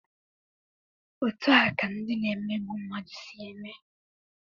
Otu a ka ndị na-emegbu mmadụ si eme.